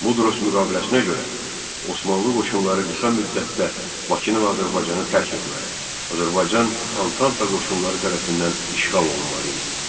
Mudros müqaviləsinə görə Osmanlı qoşunları qısa müddətdə Bakını və Azərbaycanı tərk etməli, Azərbaycan Antanta qoşunları tərəfindən işğal olunmalı idi.